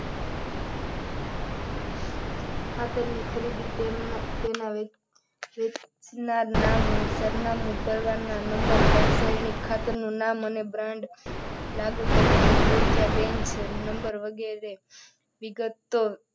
ખાતરની ખરીદી તેના વેચનારના નામ સરનામા ઉપરના નંબર રાસાયણિક ખાતરનું નામ અને brand લાગુ પડતું હોય ત્યાં બેન છે નંબર વગેરે વિગત,